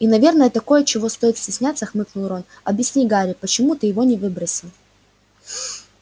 и наверное такое чего стоит стесняться хмыкнул рон объясни гарри почему ты его не выбросил